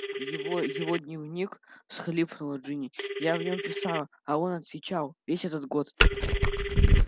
его его дневник всхлипнула джинни я в нём писала а он отвечал весь этот год